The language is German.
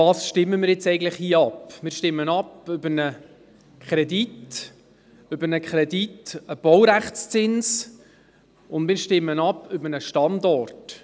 – Wir stimmen über einen Kredit ab, über einen Baurechtszins und über einen Standort.